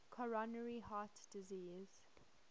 coronary heart disease